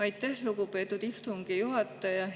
Aitäh, lugupeetud istungi juhataja!